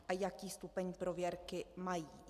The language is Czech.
A jaký stupeň prověrky mají?